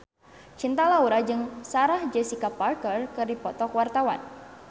Cinta Laura jeung Sarah Jessica Parker keur dipoto ku wartawan